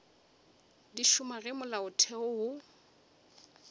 di šoma ge molaotheo wo